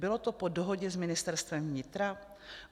Bylo to po dohodě s Ministerstvem vnitra?